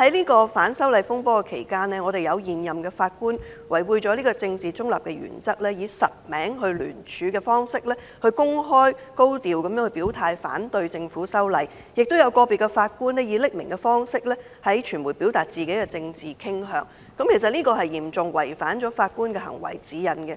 在這次反修例風波期間，有現任法官違背政治中立的原則，以實名聯署方式，高調地公開表態反對政府修例，亦有個別法官以匿名方式向傳媒表達自己的政治傾向，其實這是嚴重違犯《法官行為指引》的。